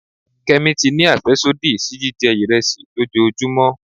Kemi ti ní afẹsodi sí jijẹ iresi lòjóojúmò